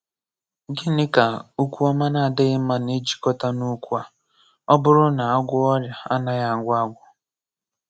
Gịnị ka okwu ọma na-adịghị mma na-ejikọta na okwu a Ọ bụrụ na a gwọọ ọrịa a naghị agwọ agwọ?